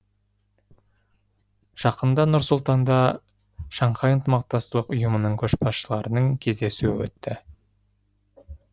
жақында нұр сұлтанда шанхай ынтымақтастық ұйымының көшбасшыларының кездесуі өтті